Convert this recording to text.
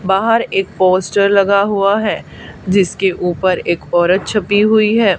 बाहर एक पोस्टर लगा हुआ है जिसके ऊपर एक औरत छपी हुई है।